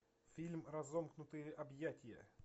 фильм разомкнутые объятия